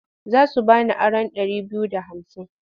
Za su ba ni aron ɗari biyu da hamsin.